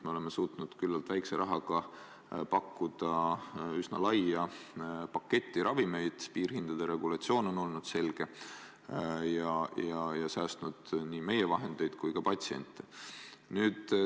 Me oleme suutnud küllalt väikese rahaga pakkuda üsna suurt paketti ravimeid, piirhindade regulatsioon on olnud selge ja säästnud nii meie vahendeid kui ka patsiente.